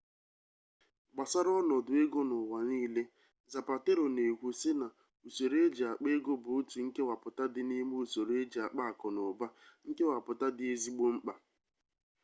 gbasara onodu ego n'uwa niile zapatero n'ekwu si na usoro eji akpa ego bu otu nkewaputa di n'ime usoro eji akpa aku n'uba nkewaputa di ezigbo mkpa